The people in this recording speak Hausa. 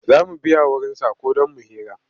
Za mu biya wurinsa ko don mu hira.